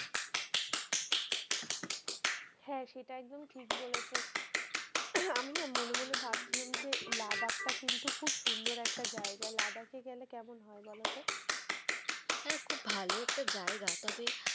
হ্যাঁ সেটা একদম ঠিক বলেছো আমি না মনে মনে ভাবছিলাম যে লাদাখ টা কিন্তু খুব সুন্দর একটা জায়গা, লাদাখ এ গেলে কেমন হয় বলতো? হ্যাঁ খুব ভালো একটা জায়গা তবে,